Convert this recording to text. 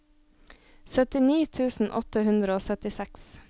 syttini tusen åtte hundre og syttiseks